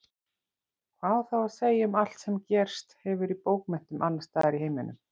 Hvað á þá að segja um allt sem gerst hefur í bókmenntum annarstaðar í heiminum?